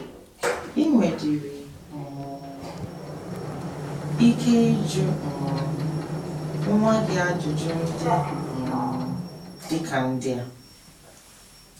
I nwedịrị um ike ịjụ um nwa gị ajụjụ ndị um dị ka ndị a: